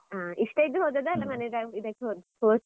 ಹಾ ಇಷ್ಟ ಇದ್ದು ಹೋದದ್ದಾ ಅಲ್ಲ, ಮನೆಯದ್ದು ಇದ್ದಕ್ಕೆ.